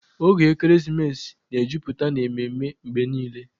Oge ekeresimesi na-ejupụta n'ememe mgbe niile